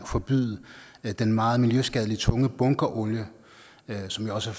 at forbyde den meget miljøskadelige tunge bunkerolie som jo også